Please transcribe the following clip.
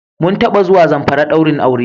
Mun taba zuwa Zamfari ɗaurin aure.